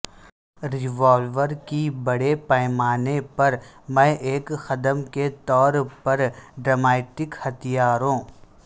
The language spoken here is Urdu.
روالور کی بڑے پیمانے پر میں ایک قدم کے طور پر ٹرامیٹک ہتھیاروں